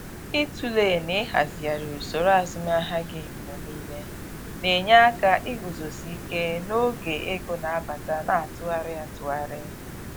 Ịtụle na ịhazighari usoro azụmahịa gị mgbe niile na-enye aka iguzosi ike n'oge ego na-abata na atụgharị atụgharị.